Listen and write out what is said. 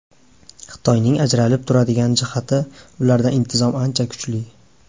Xitoyning ajralib turadigan jihati ularda intizom ancha kuchli.